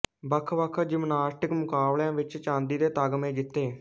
ਵੱਖਵੱਖ ਜਿਮਨਾਸਟਿਕ ਮੁਕਾਬਲਿਆਂ ਵਿੱਚ ਚਾਂਦੀ ਦੇ ਤਗਮੇ ਜਿੱਤੇ